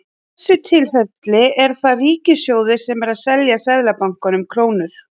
Í þessu tilfelli er það ríkissjóður sem er að selja Seðlabankanum krónur.